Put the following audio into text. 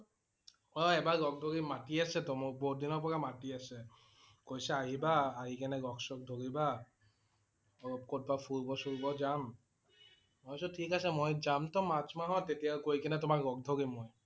অ' এবাৰ লগ ধৰিম। মাটি আছে টো মোক। বহুত দিনৰ পৰা মাটি আছে । কৈছে আহিবা আহি কেনে লগ চগ ধৰিবা । তহ কৰবাত ফুৰিব চুৰিব যাম। মই কৈছোঁ ঠিক আছে মই যাম টো মাৰ্চ মাহত তেতিয়া কৈ কেনে তোমাক লগ ধৰিম মই